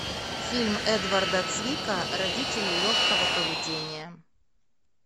фильм эдварда цвика родители легкого поведения